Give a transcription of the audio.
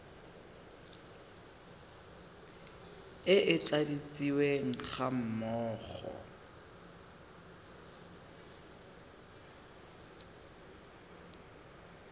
e e tladitsweng ga mmogo